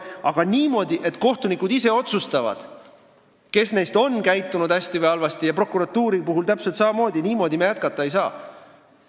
Aga niimoodi, et kohtunikud ise otsustavad, kes neist on käitunud hästi või halvasti, ja prokuratuuri puhul täpselt samamoodi – niimoodi me jätkata ei saa.